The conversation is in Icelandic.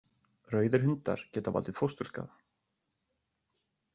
Rauðir hundar geta valdið fósturskaða.